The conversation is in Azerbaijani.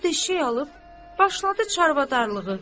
Üç-dörd eşşək alıb başladı çərvadarlığı.